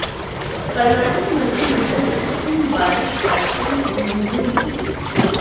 कर्नाटक मंत्रिमंडल ने कृत्रिम बारिश कार्यक्रम को मंजूरी दी